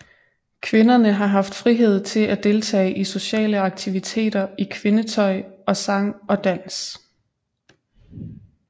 Kvinderne har haft frihed til at deltage i sociale aktiviteter i kvindetøj og sang og dans